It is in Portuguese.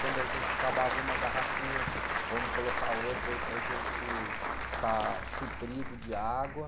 Quando a gente acabava uma garrafinha, vamos colocar outra aí para a gente estar suprido de água.